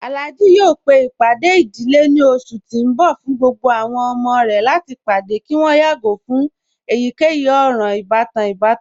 Alhaji yọọ pe ipádẹ̀ idílé ni ọṣù ti n bọ̀ fún gbogbo àwọn ọmọ rẹ̀ láti padẹ̀ kí wọn yàgo fun èyíkeyì òran-ìbatan ìbàtàn.